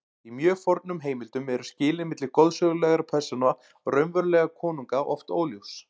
Í mjög fornum heimildum eru skilin milli goðsögulegra persóna og raunverulega konunga oft óljós.